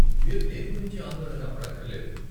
మీరు దేని గురించి ఆందోళన పడక్కర్లేదు.